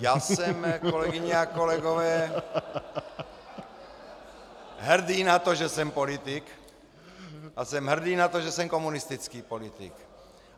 Já jsem, kolegyně a kolegové, hrdý na to, že jsem politik, a jsem hrdý na to, že jsem komunistický politik.